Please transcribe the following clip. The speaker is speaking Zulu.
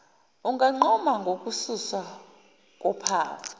unganquma ngokususwa kophawu